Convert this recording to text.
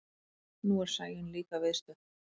Nú er Sæunn líka viðstödd.